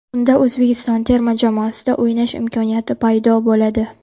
Unda O‘zbekiston terma jamoasida o‘ynash imkoniyati paydo bo‘ladi.